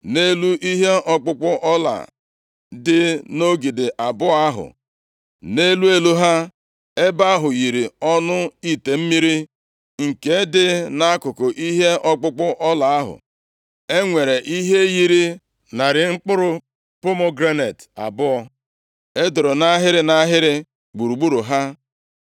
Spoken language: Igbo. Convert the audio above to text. Nʼelu ihe ọkpụkpụ ọla dị nʼogidi abụọ ahụ, nʼelu elu ha, ebe ahụ yiri ọnụ ite mmiri nke dị nʼakụkụ ihe ọkpụkpụ ọla ahụ, e nwere ihe yiri narị mkpụrụ pomegranet abụọ e doro nʼahịrị nʼahịrị gburugburu ha.